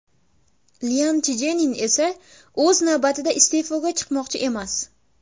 Lyan Chjenin esa, o‘z navbatida, iste’foga chiqmoqchi emas.